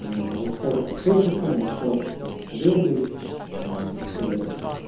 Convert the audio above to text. расстаться с офисом расстаться там с арендой и так далее